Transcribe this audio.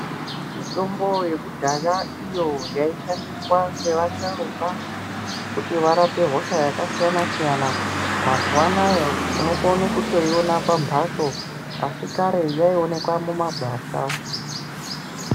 Mitombo yekudhaya iyo yaishandiswa ngevasharukwa kuti varape hosha yakasiyana-siyana, mazuva anayo unokone kutoiona pambatso asi kare yaionekwa mumagwasha.